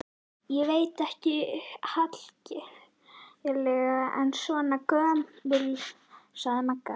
Ég veit ekkert hallærislegra en svona göngur, sagði Magga.